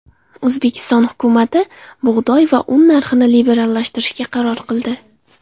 O‘zbekiston hukumati bug‘doy va un narxini liberallashtirishga qaror qildi.